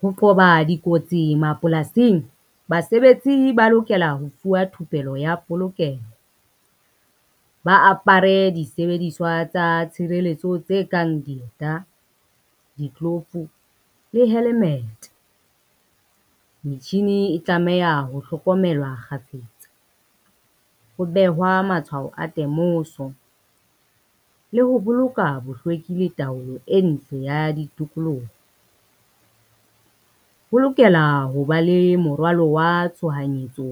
Ho qoba dikotsi mapolasing, basebetsi ba lokela ho fuwa thupello ya polokeho. Ba apare disebediswa tsa tshireletso tse kang dieta, ditlolofu le helemete. Metjhini e tlameha ho hlokomelwa kgafetsa, ho behwa matshwao a temoso le ho boloka bohlweki le taolo e ntle ya ditokoloho. Ho lokela ho ba le morwalo wa tshohanyetso